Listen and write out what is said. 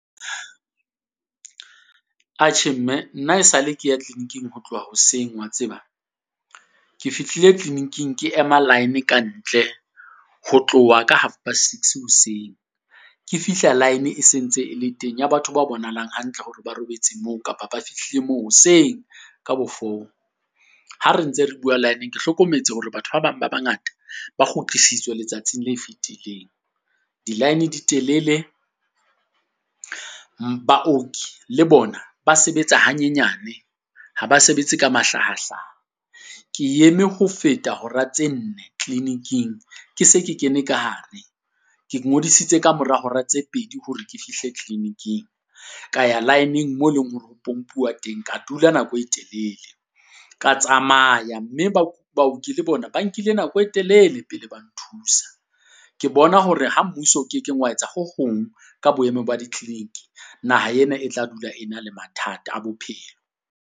Atjhe mme, nna e sa le ke ya clinic-ing ho tloha hoseng wa tseba? Ke fihlile clinic-ing ke ema line ka ntle ho tloha ka half past six hoseng, ke fihla line e sentse e le teng ya batho ba bonahalang hantle hore ba robetse moo kapa ba fihlile mo hoseng ka bo four. Ha re ntse re bua line-eng ke hlokometse hore batho ba bang ba bangata ba kgutlisitswe letsatsing la fetileng. Di-line di telele, baoki le bona ba sebetsa hanyenyane ha ba sebetse ka mahlahahlaha. Ke eme ho feta hora tse nne clinic-ing ke se ke kene ka hare, ke ngodisitse kamora hora tse pedi hore ke fihle clinic-ing, ka ya line-eng mo e leng hore ho pompuwa teng ka dula nako e telele. Ka tsamaya mme baoki le bona ba nkile nako e telele pele ba nthusa, ke bona hore ha mmuso o kekeng wa etsa ho hong ka boemo ba di-clinic. Naha ena e tla dula e na le mathata a bophelo.